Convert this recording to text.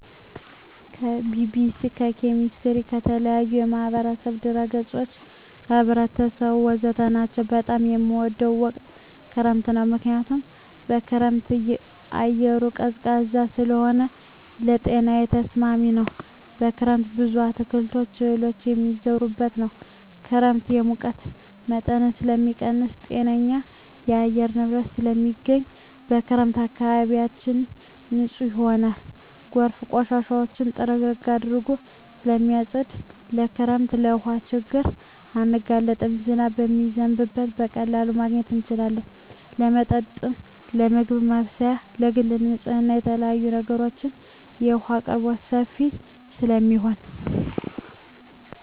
ከቢቢሲ, ከሜትሮሎጅ, ከተለያዪ የማህበራዊ ድረ ገፆች , ከህብረተሰቡ ወዘተ ናቸው። በጣም የምወደው ወቅት ክረምት ነው ምክንያቱም በክረምት አየሩ ቀዝቃዛ ስለሆነ ለጤናዬ ተስማሚ ነው። በክረምት ብዙ አትክልቶች እህሎች የሚዘሩበት ነው። ክረምት የሙቀት መጠንን ስለሚቀንስ ጤነኛ የአየር ንብረት ስለማገኝ። በክረምት አካባቢያችን ንፁህ ይሆናል ጎርፎች ቆሻሻውን ጥርግርግ አድርገው ስለማፀዱት። በክረምት ለውሀ ችግር አንጋለጥም ዝናብ ስለሚዘንብ በቀላሉ ማግኘት እንችላለን ለመጠጥ ለምግብ ማብሰያ ለግል ንፅህና ለተለያዪ ነገሮች የውሀ አቅርቦት ሰፊ ስለሚሆን።